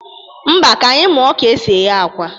Mba, ka anyị muọ ka e si eghe akwa.